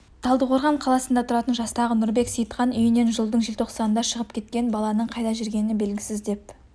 талдықорған қаласында тұратын жастағы нұрбек сейітхан үйінен жылдың желтоқсанында шығып кеткен баланың қайда жүргені белгісіз деп